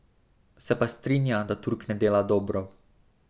Se pa strinja, da Turk ne dela dobro.